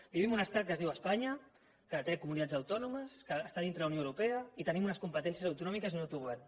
vivim en un estat que es diu espanya que té comunitats autònomes que està dintre de la unió europea i tenim unes competències autonòmiques i un autogovern